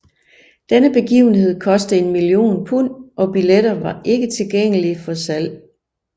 Denne begivenhed koste en million pund og billetter var ikke tilgængelig for salg